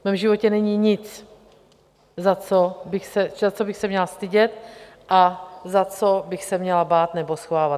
V mém životě není nic, za co bych se měla stydět a za co bych se měla bát nebo schovávat.